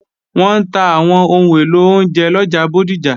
Wọ́n ń ta àwọn ohun èlò oúnjẹ lọjà Bódìjà